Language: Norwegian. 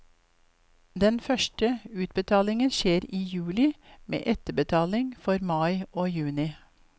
Den første utbetalingen skjer i juli, med etterbetaling for mai og juni.